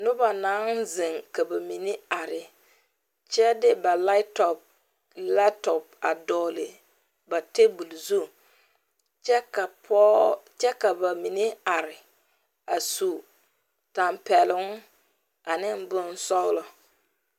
Noba naŋ zeŋ ka ba mine are kyɛ de ba light top lap top a dɔgle ba table zu kyɛ ka pɔge kyɛ ka ba mine are a su tampɛloŋ ane bonsɔglɔ.